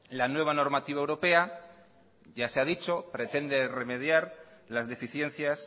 la nueva normativa europea ya se ha dicho pretende remediar las deficiencias